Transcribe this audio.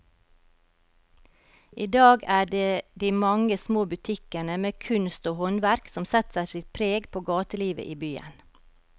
I dag er det de mange små butikkene med kunst og håndverk som setter sitt preg på gatelivet i byen.